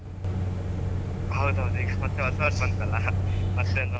ಹೌದೌದ್ ಈಗ ಹೊಸ ವರ್ಷ ಬಂತಲ್ಲ ಮತ್ತ್.